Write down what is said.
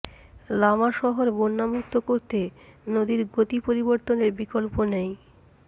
লামা শহর বন্যামুক্ত করতে নদীর গতি পরিবর্তনের বিকল্প নেই